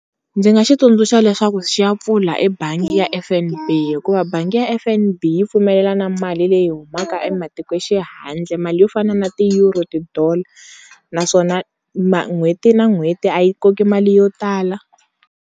Ndzi nga xi tsundzuxa leswaku xi ya pfula ebangi ya F_N_B hikuva bangi ya F_N_B yi pfumelela na mali leyi humaka ematiko xi handle mali yo fana na ti-euro ti-dollar naswona ma n'hweti na n'hweti a yi koki mali yo tala.